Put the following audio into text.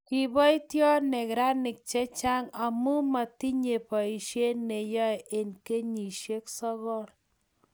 kibotio neranik che chang' amu matinyei boisie ne yoe eng' kenyisiek sokol